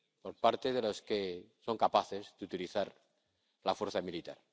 Por parte de los que son capaces de utilizar la fuerza militar.